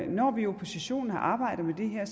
når vi i oppositionen har arbejdet med det her